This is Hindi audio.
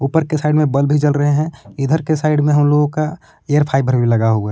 ऊपर के साइड में बल्ब भी जल रहे हैं इधर के साइड में हम लोगों का एयर फाइबर भी लगा हुआ है।